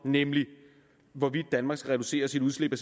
nemlig hvorvidt danmark skal reducere sit udslip af